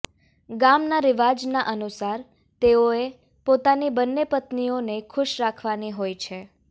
ગામના રિવાજ ના અનુસાર તેઓએ પોતાની બંને પત્નીઓને ખુશ રાખવાની હોય છે